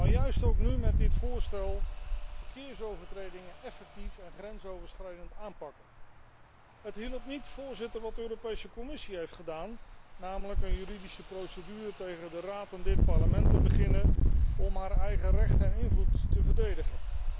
Maar ook nu door dit voorstel om verkeersovertredingen effectief en grensoverschrijdend aan te pakken. Het hielp niet, Voorzitter, wat de Europese Commissie heeft gedaan, namelijk een juridische procedure tegen de Raad en dit Parlement inleiden om haar eigen recht en invloed te verdedigen.